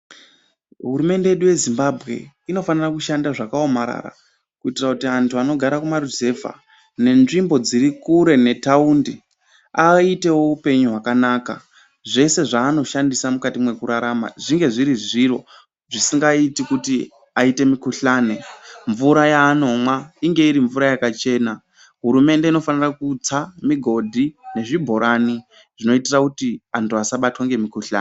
Hurumemde yedu yeZimbabwe inofanira kushanda zvakaomarara kuitira kuti antu anogara kumaruzevha nenzvimbo dziri kure nethaundi aitewo upenyu hwakanaka. Zvese zvaanoshandisa mukati mwekurarama zvinge zviri zviro zvisingaiti kuti aite mikhuhlane ,mvura yaanomwa inge iri mvura yakachena. Hurumende infanira kutsa migodhi nezvibhorani zvinoitira kuti antu asabatwa ngemikhuhlane.